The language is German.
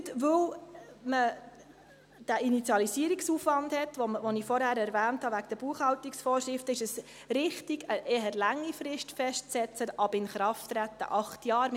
Gerade weil man diesen Initialisierungsaufwand hat, den ich vorhin wegen der Buchhaltungsvorschriften erwähnt habe, ist es richtig, eine eher lange Frist festzusetzen, ab Inkrafttreten acht Jahre.